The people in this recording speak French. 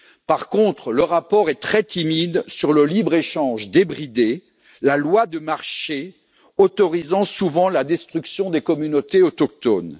Par contre, le rapport est très timide sur le libre échange débridé, la loi du marché autorisant souvent la destruction des communautés autochtones.